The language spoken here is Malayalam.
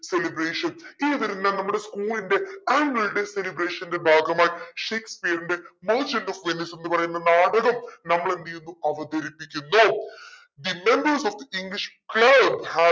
celebration ഇങ്ങനത്തെ ഒരെണ്ണം നമ്മുടെ school ന്റെ annual day celebration ന്റെ ഭാഗമായി ഷേക്‌സ്‌പിയറിന്റെ merchant of venice എന്ന് പറയുന്ന നാടകം നമ്മളെന്തേയുന്നു അവതരിപ്പിക്കുന്നു the members of english club has